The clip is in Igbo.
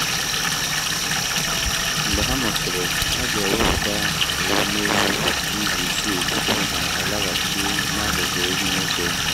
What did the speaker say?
mgbe ha mụsịrị a ga-ewepụta ewumewụ izu isii tupu ha alaghachi n’akụkụ ehi nwoke